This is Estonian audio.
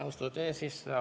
Austatud eesistuja!